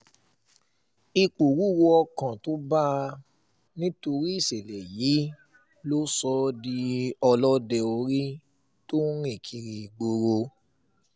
ìpòrúurú ọkàn tó bá a nítorí ìṣẹ̀lẹ̀ yìí ló sọ ọ́ di ọlọ́dẹ orí tó ń rìn kiri ìgboro